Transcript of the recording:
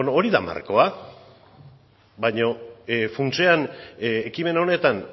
bueno hori da markoa baina funtsean ekimen honetan